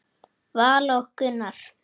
Vala og Gunnar.